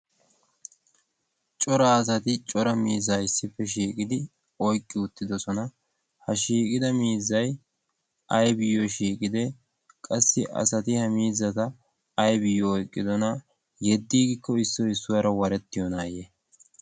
cora asati cora miiza issippe shiiqidi oiqqi uttidosona. ha shiiqida miizai aibiyyo shiiqide? qassi asati ha miizata aibiyyo oiqqidona? yeddiiggikko issoi issuwaara warettiyonaayye?